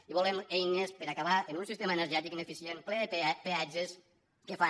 i volem eines per a acabar amb un sistema energètic ineficient ple de peatges que fan